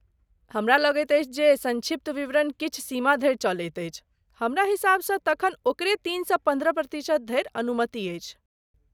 हमरा लगैत अछि जे सङ्क्षिप्त विवरण किछु सीमा धरि चलैत अछि, हमरा हिसाबसँ तखन ओकरे तीनसँ पन्द्रह प्रतिशत धरि अनुमति अछि।